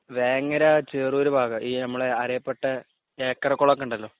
വേങ്ങര ചേറൂര് ഭാഗം നമ്മളെ അരയപ്പെട്ട ഏക്കറകുളം ഉണ്ടല്ലോ